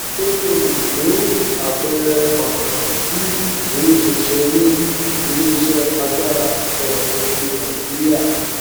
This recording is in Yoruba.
ṣé o lè fún àpẹẹrẹ pàtàkì tí ìdúróṣinṣin ní iléiṣẹ agbára ìsọdọtùn ti nàìjíríà